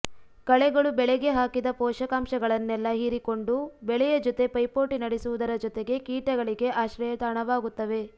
ಕಳೆಗಳು ಬೆಳೆಗೆ ಹಾಕಿದ ಪೋಷಕಾಂಶಗಳನ್ನೆಲ್ಲಾ ಹೀರಿಕೊಂಡು ಬೆಳೆಯ ಜೊತೆ ಪೈಪೋಟಿ ನಡೆಸುವುದರ ಜೊತೆಗೆ ಕೀಟಗಳಿಗೆ ಆಶ್ರಯತಾಣವಾಗುತ್ತವೆ